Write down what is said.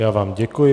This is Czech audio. Já vám děkuji.